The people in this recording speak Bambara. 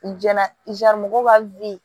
U jɛnna mɔgɔw ka